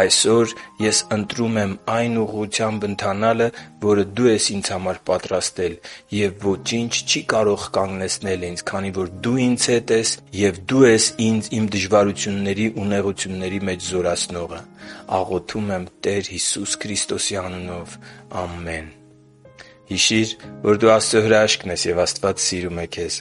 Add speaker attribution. Speaker 1: Այսօր, ես ընտրում եմ այն ուղղությամբ ընթանալը, որը Դու ես ինձ համար պատրաստել, և ոչինչ չի կարող կանգնեցնել ինձ, քանի որ Դու ինձ հետ ես և Դու ես ինձ իմ դժվարությունների ու նեղությունների մեջ զորացնողը։ Աղոթում եմ Տեր Հիսուս Քրիստոսի անունով։ Ամե՛ն»։ Հիշի՛ր, որ դու Աստծո հրաշքն ես, և Աստված սիրում է քեզ։